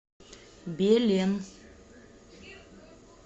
белен